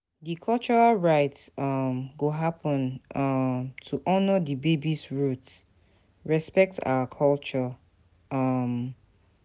Di cultural rites um go happen um to honor di baby's roots, respect our culture. um